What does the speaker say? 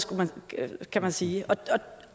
kan man sige